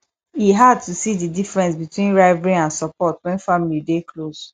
e hard to see di difference between rivalry and support when family dey close